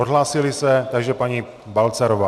Odhlásil se, tak paní Balcarová.